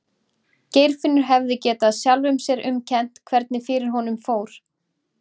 Geirfinnur hefði getað sjálfum sér um kennt hvernig fyrir honum fór.